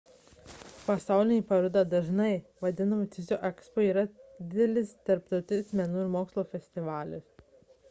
pasaulinė paroda dažnai vadinama tiesiog ekspo yra didelis tarptautinis menų ir mokslo festivalis